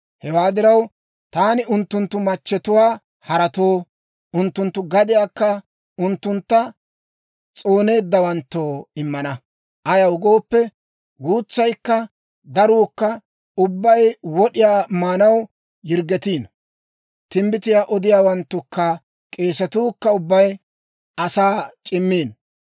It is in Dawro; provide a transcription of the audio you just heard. Hewaa diraw, taani unttunttu machchetuwaa haratoo, unttunttu gadiyaakka unttuntta s'ooneeddawanttoo immana. Ayaw gooppe, guutsaykka daruukka ubbay wod'iyaa maanaw yirggetiino. Timbbitiyaa odiyaawanttukka k'eesatuu kka ubbay asaa c'immiino.